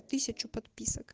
тысячу подписок